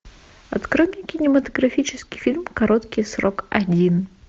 открой мне кинематографический фильм короткий срок один